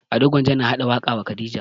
Ado gwanja na haɗa waƙa wa khadija